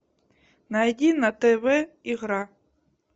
найди на тв игра